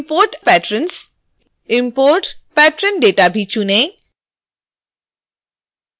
import_patrons import patron data भी चुनें